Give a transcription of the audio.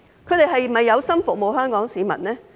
他們是否有心服務香港市民的呢？